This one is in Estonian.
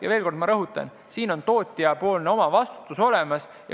Ja veel kord ma rõhutan: siin on olemas tootjapoolne omavastutus.